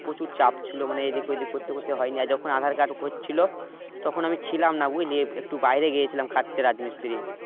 প্রচুর চাপ ছিল মানে এইদিক ঐদিক করতে করতে হয়নি আর যখন আঁধার card হচ্ছিল তখন আমি ছিলাম না বুঝলি একটু বাইরে গিয়েছিলাম খাটতে রাজমিস্ত্রি